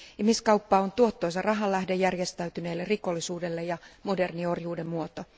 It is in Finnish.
Ihmiskauppa on tuottoisa rahanlähde järjestäytyneelle rikollisuudelle ja moderni orjuuden muoto.